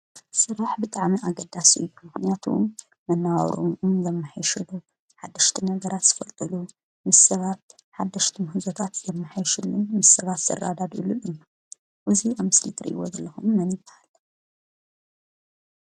ስራሕ ብጣዕሚ ኣገዳሲ እዩ። ምክንያቱ መናባብሮና እናመሕየሸሉ ሓደሽቲ ነገራት ዝፈልጥሉ ምስ ሰባት ሓደሽቲ ምህዞታት ዝምሓየሽሉ ምስ ሰባት ዝረዳድእሉን እዩ። እዙይ ኣብ ምስሊ እትርእይዎ ዘለኹም መን ይብሃል?